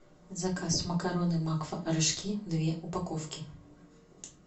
заказ макароны макфа рожки две упаковки